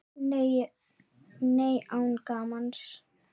Nei, án gamans.